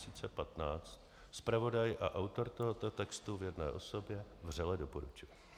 Zpravodaj a autor tohoto textu v jedné osobě vřele doporučuje.